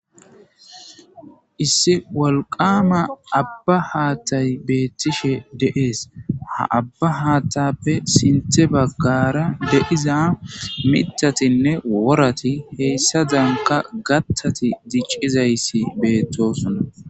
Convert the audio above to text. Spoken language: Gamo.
Issi walqama abba haattay beettishe de7ees ha abba haatappe sinthe baggara deiza mitatinne worati heyssa danka gattati diccizayssi beettosonna.